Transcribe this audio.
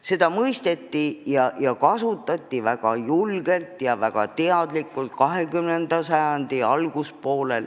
Seda mõisteti ja sellest lähtuti väga julgelt ja väga teadlikult 20. sajandi alguspoolel.